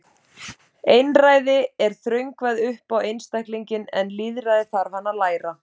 Einræði er þröngvað upp á einstaklinginn en lýðræði þarf hann að læra.